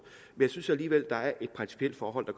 men jeg synes alligevel der er et principielt forhold